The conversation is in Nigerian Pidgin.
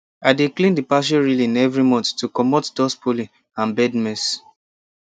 i dey clean the patio railing every month to comot dust pollen and bird mess